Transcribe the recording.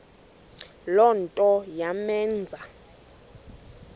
le nto yamenza